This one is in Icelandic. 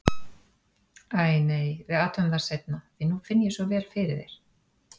Æ, nei, við athugum það seinna, því nú finn ég svo vel fyrir þér.